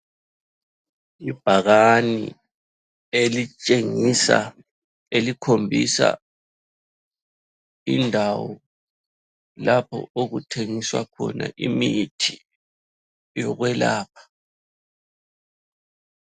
Ibhakane elitshengisa elikhombisa indawo lapho okuthengiswa khona imithi yokwelapha.